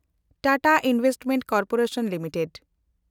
Tata investment corporation limited